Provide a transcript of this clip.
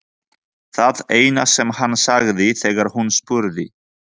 Það eina sem hann sagði þegar hún spurði.